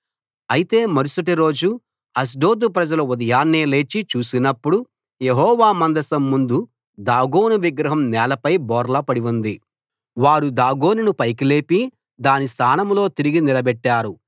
అయితే మరుసటి రోజు అష్డోదు ప్రజలు ఉదయాన్నే లేచి చూసినప్పుడు యెహోవా మందసం ముందు దాగోను విగ్రహం నేలపై బోర్లా పడి ఉంది వారు దాగోనును పైకి లేపి దాని స్థానంలో తిరిగి నిలబెట్టారు